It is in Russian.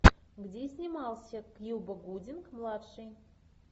где снимался кьюба гудинг младший